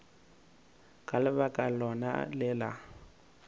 ka lebaka lona le la